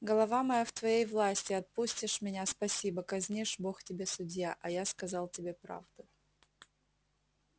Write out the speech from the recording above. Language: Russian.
голова моя в твоей власти отпустишь меня спасибо казнишь бог тебе судья а я сказал тебе правду